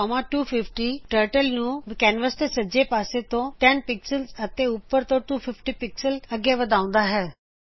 ਗੋ 10250Turtleਨੂੰ ਕੈਨਵਸ ਦੇ ਸਜੇ ਪਾਸੇ ਤੋਂ 10 ਪਿਕਸਲਜ਼ ਅਤੇ ਉਪਰ ਤੋਂ 250 ਪਿਕਸਲਜ਼ ਅੱਗੇ ਵਧਾਉਂਦਾ ਹੈਂ